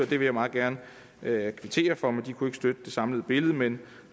det vil jeg meget gerne kvittere for de kunne ikke støtte det samlede billede men